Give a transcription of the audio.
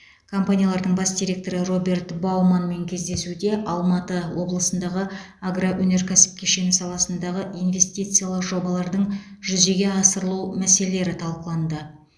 компаниялардың бас директоры роберт бауманнмен кездесуде алматы облысындағы агроөнеркәсіп кешені саласындағы инвестициялық жобалардың жүзеге асырылу мәселелері талқыланды